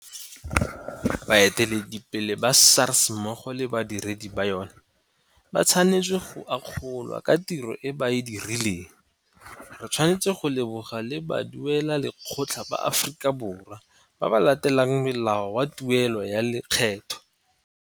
Baeteledipele ba SARS mmogo le badiredi ba yona ba tshwanetswe go akgolwa ka tiro e ba e dirileng. Re tshwanetse go leboga le baduelalekgetho ba Aforika Borwa ba ba latelang molao wa tuelo ya lekgetho.